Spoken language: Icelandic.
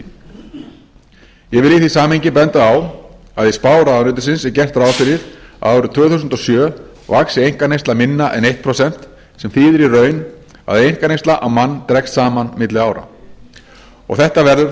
í því samhengi benda á að í spá ráðuneytisins er gert ráð fyrir að árið tvö þúsund og sjö vaxi einkaneysla minna en eitt prósent sem þýðir í raun að einkaneysla á mann dregst saman milli ára og þetta verður